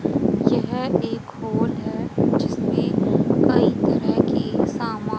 यह एक हॉल है जिसमें कई तरह की समां--